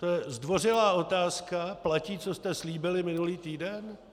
To je zdvořilá otázka: Platí, co jste slíbili minulý týden?